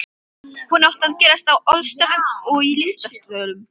Hún átti að gerast á ölstofum og í listasölum.